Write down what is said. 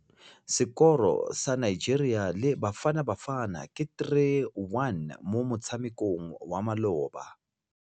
Sekôrô sa Nigeria le Bafanabafana ke 3-1 mo motshamekong wa malôba.